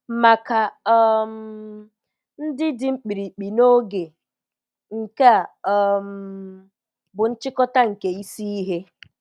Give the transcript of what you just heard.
Maka um ndị dị mkpirikpi n'oge, nke a um bụ nchịkọta nke isi ihe: